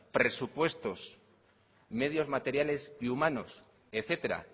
presupuestos medios materiales y humanos etcétera